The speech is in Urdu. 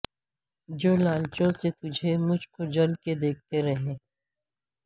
جو لالچوں سے تجھے مجھ کو جل کے دیکھتے ہیں